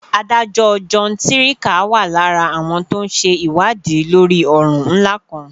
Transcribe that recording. adájọ́ john sirica wà lára àwọn tó ń ṣe ìwádìí lórí ọ̀ràn ńlá kan